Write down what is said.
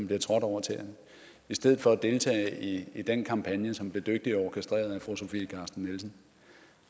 bliver trådt over tæerne i stedet for at deltage i den kampagne som bliver dygtigt orkestreret af fru sofie carsten nielsen